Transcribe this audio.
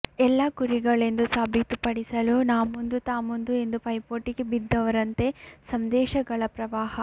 ಎಲ್ಲರೂ ಕುರಿಗಳೆಂದು ಸಾಬೀತುಪಡಿಸಲು ನಾಮುಂದು ತಾಮುಂದು ಎಂದು ಪೈಪೋಟಿಗೆ ಬಿದ್ದವರಂತೆ ಸಂದೇಶಗಳ ಪ್ರವಾಹ